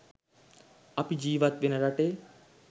අපි ජීවත් වෙන රටේ